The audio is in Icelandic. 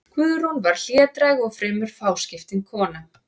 Guðrún var hlédræg og fremur fáskiptin kona.